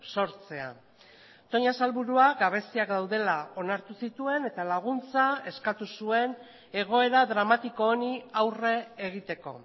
sortzea toña sailburua gabeziak daudela onartu zituen eta laguntza eskatu zuen egoera dramatiko honi aurre egiteko